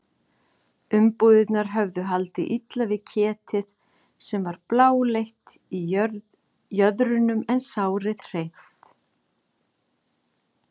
Umbúðirnar höfðu haldið illa við ketið sem var bláleitt í jöðrunum en sárið hreint.